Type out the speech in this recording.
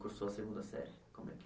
Cursou a segunda série? Como é